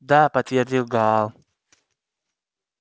да подтвердил гаал